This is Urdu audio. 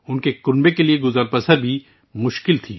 ان کی فیملی کا زندہ رہنا بھی مشکل تھا